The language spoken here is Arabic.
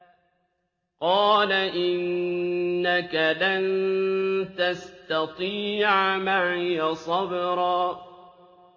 قَالَ إِنَّكَ لَن تَسْتَطِيعَ مَعِيَ صَبْرًا